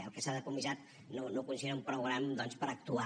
el que s’ha confiscat no ho consideren prou gran doncs per actuar